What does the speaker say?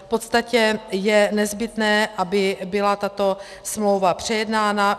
V podstatě je nezbytné, aby byla tato smlouva přejednána.